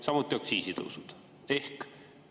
Samuti on aktsiisitõusudega.